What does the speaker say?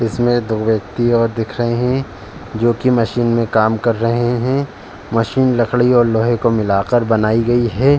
इसमें दो व्यक्ति और दिख रहे हैं जो कि मशीन में काम कर रहे हैं। मशीन लकड़ी और लोहे को मिलाकर बनाई गई है।